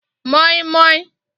moi moi